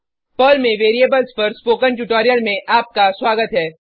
Perl में variables पर spoken tutorial में आपका स्वागत है